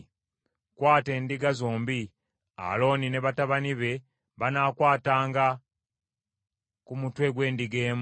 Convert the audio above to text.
“Kwata endiga zombi, Alooni ne batabani be banaakwatanga ku mutwe gw’endiga emu;